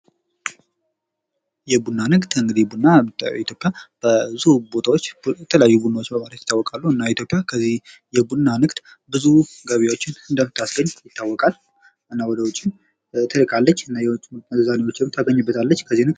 የቡና ንግድ እንግዲህ ቡና በኢትዮጵያ ብዙ ቦታዎች የተለያዩ ቡናዎችን ለማምረት ይታወቃሉ የኢትዮጵያ ከዚህ የቡና ንግድ ብዙ ገቢዎች እንደምታስገኝ ይታወቃል እናም ወደ ውጭም ትልካለች እናም የውጭ ምንዛሬም ታገኝበታለች::